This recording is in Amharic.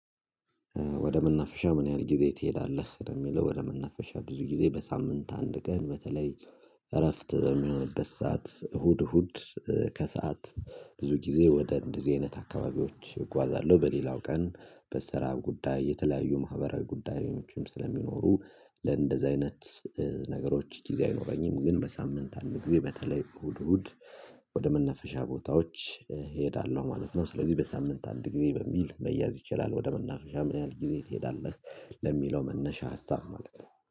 ወደ መናፈሻ ምን ያህል ጊዜ ትሄዳለህ ለሚለው ወደ መናፈሻ ብዙ ጊዜ በሳምንት አንድ ቀን በተለይ እረፍት በሚሆንበት ሰዓት እሁድ እሁድ ከሰአት ብዙ ጊዜ ወደ እንደዚህ አይነት አካባቢዎች እጓዛለሁ፤ በሌላው ቀን በስራ ጉዳይ የተለያዩ ማህበራዊ ጉዳዮችም ስለሚኖሩ አይነት ነገሮች ጊዜ አይኖረኝም፤ ግን በሳምንት አንድ ጊዜ በተለይ እሁድ እሁድ ወደ ቦታዎች እሄዳለሁ ማለት ነው። ስለዚህ በሳምንት አንድ ጊዜ በሚል መያዝ ይችላል ወደ መናፈሻ ምን ያህል ጊዜ ትሄዳለህ ለሚለው መነሻ ሀሳብ ማለት ነው።